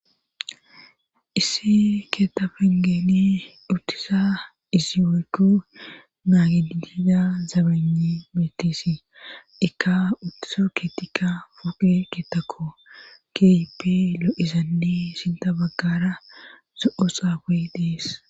Issi keeta fangeni dhuttisa izi woykku naagiiida zabani meetesi ikka uttiso keetikka foqe keetako keype lo7izanne sinta baggara zo7o xaaqoy dees